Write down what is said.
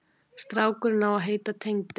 Strákurinn á að heita Tengdi.